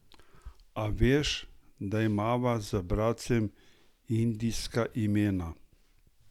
A veš, da imava z bratcem indijska imena?